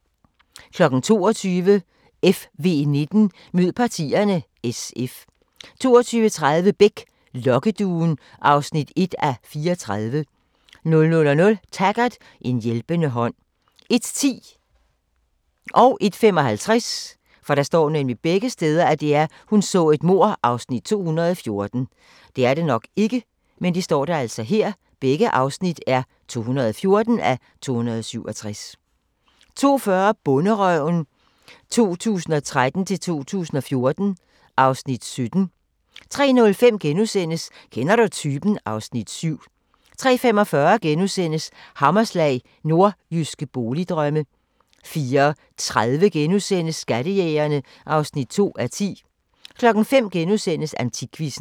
22:00: FV19: Mød partierne – SF 22:30: Beck: Lokkeduen (1:34) 00:00: Taggart: En hjælpende hånd 01:10: Hun så et mord (214:267) 01:55: Hun så et mord (214:267) 02:40: Bonderøven 2013-2014 (Afs. 17) 03:05: Kender du typen? (Afs. 7)* 03:45: Hammerslag – Nordjyske boligdrømme * 04:30: Skattejægerne (2:10)* 05:00: AntikQuizzen *